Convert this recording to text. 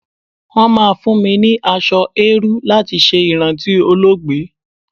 Wọ́n máa fún mi ní aṣọ eérú láti ṣe ìrántí olóògbé.